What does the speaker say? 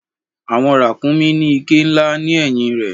Àwọn ràkúnmí ní iké ńlá ni ẹ̀yìn rẹ̀.